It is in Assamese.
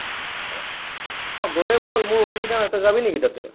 আহ গলে বল মোৰ অসুবিধা নাই। তই যাবি নেকি তাতে?